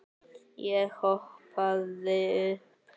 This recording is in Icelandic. Ég hoppaði upp.